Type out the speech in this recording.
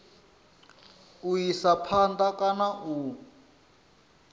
u isa phanda kana u